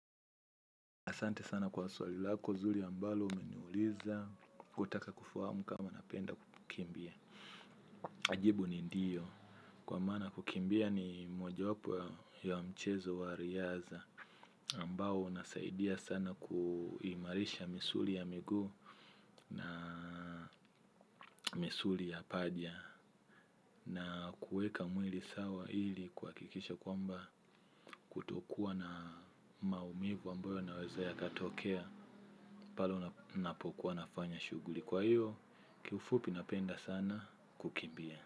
Asante sana kwa swali lako zuri ambalo umeniuliza, wataka kufahamu kama napenda kukimbia. Na jibu ni ndiyo, kwa maana kukimbia ni mojawapo ya mchezo wa riadha. Ambao unasaidia sana kuimarisha misuli ya miguu na misuli ya paja. Na kuweka mwili sawa ili kuhakikisha kwamba kutokuwa na maumivu ambayo yanaweza yakatokea pale napokuwa nafanya shughuli. Kwa hiyo kiufupi napenda sana kukimbia.